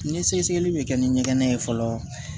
Ni sɛgɛsɛgɛli bɛ kɛ ni ɲɛgɛn ye fɔlɔ